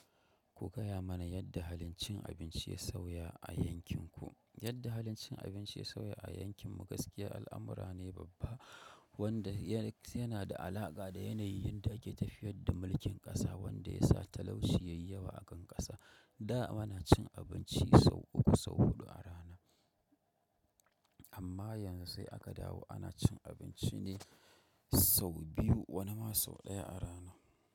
Ku gaya mana yadda halin cin abinci ya sauya a yankin ku. Yadda halin cin abinci sauya a yankin mu gaskiya al'amura ne babba wanda yana da alaƙa da yanayin da ake tafiyar da mulkin ƙasa wanda ya sa talauci yayi yawa a kan ƙasa. Da mana cin abinci sau uku sau huɗu a rana amma yanzu sai aka dawo ana cin abinci ne sau biyu wani ma sau ɗaya a rana.